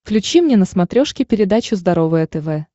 включи мне на смотрешке передачу здоровое тв